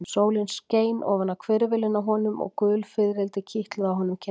Sólin skein ofan á hvirfilinn á honum og gul fiðrildi kitluðu á honum kinnarnar.